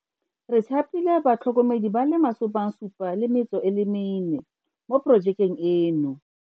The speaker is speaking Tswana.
Re thapile batlhokomedi ba le 74 mo porojekeng eno.